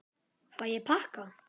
Fæ ég pakka?